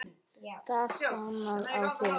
Það sannast á þér.